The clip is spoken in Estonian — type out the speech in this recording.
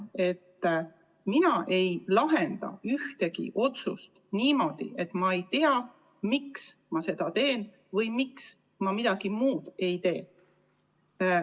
Mina ei lahenda ühtegi otsust niimoodi, et ma ei tea, miks ma seda teen või miks ma midagi muud ei tee.